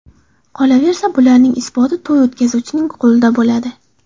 Qolaversa, bularning isboti to‘y o‘tkazuvchining qo‘lida bo‘ladi.